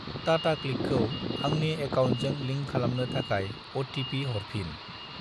टाटाक्लिकखौ आंनि एकाउन्टजों लिंक खालामनो थाखाय अ.टि.पि. हरफिन।